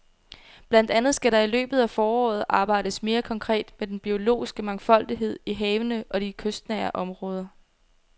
Blandt andet skal der i løbet af foråret arbejdes mere konkret med den biologiske mangfoldighed i havene og i de kystnære områder.